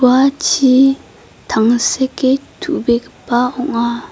ua chi tangseke tu·begipa ong·a.